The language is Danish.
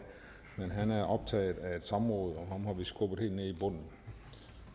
men han er optaget af et samråd ham har vi skubbet helt ned i bunden